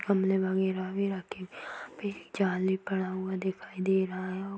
गमले वगैरा भी रखे हुए जाल भी पड़ा हुआ दिखाई दे रहा है |